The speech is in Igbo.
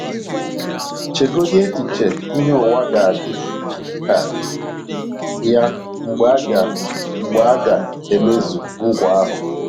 Chegodị echiche ihe ụwa ga - adị ka ya mgbe a ga mgbe a ga - emezu nkwa ahụ.